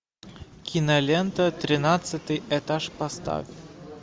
кинолента тринадцатый этаж поставь